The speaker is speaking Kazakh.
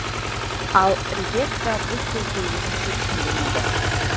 ал ревекка бұл сөзді өзінше түсінген еді